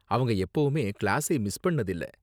அவங்க எப்போவுமே கிளாஸை மிஸ் பண்ணது இல்ல.